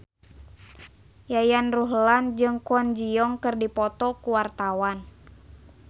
Yayan Ruhlan jeung Kwon Ji Yong keur dipoto ku wartawan